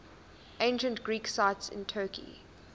ancient greek sites in turkey